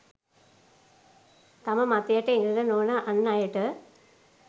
තම මතයට එකඟ නොවන අන් අයට